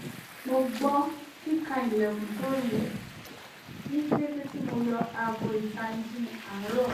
mo gbọ́ kíkan ilẹ̀kùn tó rinlẹ̀ ní kété tí mo yọ aago ìtanijí àárọ̀